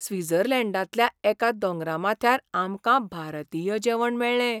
स्वित्झर्लंडांतल्या एका दोंगरा माथ्यार आमकां भारतीय जेवण मेळ्ळें.